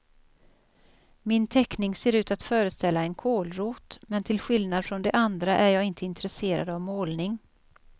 Min teckning ser ut att föreställa en kålrot, men till skillnad från de andra är jag inte intresserad av målning.